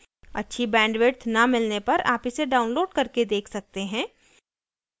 अच्छी bandwidth न मिलने पर आप इसे download करके देख सकते हैं